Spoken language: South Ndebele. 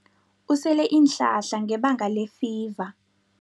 Usele iinhlahla ngebanga lefiva.